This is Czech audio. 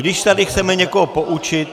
Když tady chceme někoho poučit...